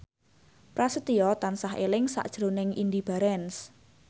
Prasetyo tansah eling sakjroning Indy Barens